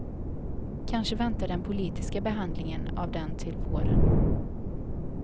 Kanske väntar den politiska behandlingen av den till våren.